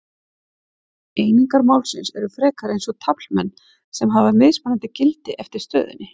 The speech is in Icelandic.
Einingar málsins eru frekar eins og taflmenn sem hafa mismunandi gildi eftir stöðunni.